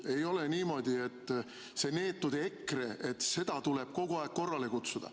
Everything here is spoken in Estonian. Ei ole niimoodi, et seda neetud EKRE-t tuleb kogu aeg korrale kutsuda.